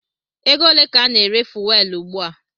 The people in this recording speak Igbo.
Ego ole ka a na-ere Fuwelu ùgbúà?